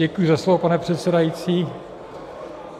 Děkuji za slovo, pane předsedající.